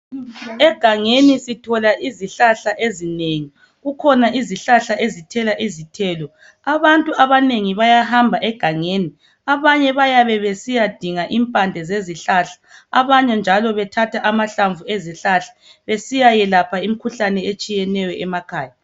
Egangeni sithola izihlahla ezinengi, kukhona izihlahla ezithela izithelo. Abantu abanengi bayahamba egangeni, abanye bayabe besiya dinga impande zezihlahla abanye njalo bethatha amahlamvu ezihlahla besiya yelapha imikhuhlane etshiyeneyo emakhaya.